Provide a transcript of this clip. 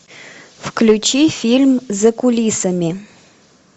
включи фильм за кулисами